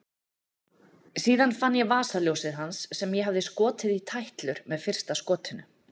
Síðan fann ég vasaljósið hans sem ég hafði skotið í tætlur með fyrsta skotinu.